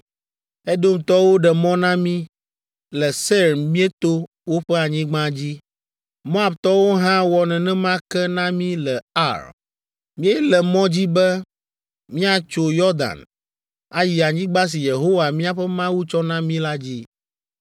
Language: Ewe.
Edomtɔwo ɖe mɔ na mí le Seir míeto woƒe anyigba dzi. Moabtɔwo hã wɔ nenema ke na mi le Ar. Míele mɔ dzi be míatso Yɔdan, ayi anyigba si Yehowa míaƒe Mawu tsɔ na mí la dzi.”